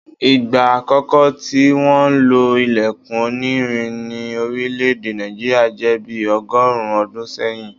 Ìgbà àkókò tí wọ́n lo ilẹkun onírin ní orílẹ̀ èdè Nàìjíríà jẹ́ bi ọgọ́rùn-ún ọdún sẹ́yìn